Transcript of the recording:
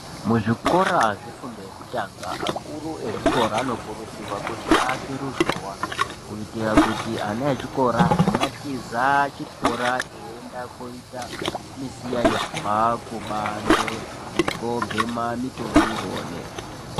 Muzvikora zvefundo yekutanga akuru echikora anokurudzirwa kuti aake ruzhowa kuitira kuti ana echikora asatiza chikora eienda koita misikanzwa kubanze nekubhema mutoriro.